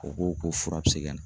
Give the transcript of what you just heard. O ko ko fura bi se ka na